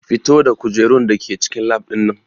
Fito da kujerun da ke cikin lab ɗin nan!